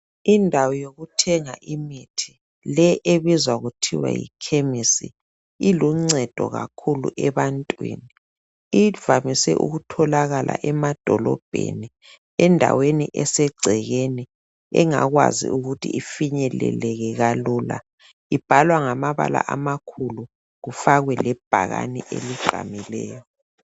Indawo yokuthenga imithi le ebizwa kuthiwa yikhemisi, iluncedo kakhulu ebantwini. Ivamise ukutholakala emadholombeni, endaweni esegcekeni, angakwazi ukuthi ifinyeleleke kalula. Kubhalwa ngamabala amakhulu, kufakwe lebhakani elibhaliweyo.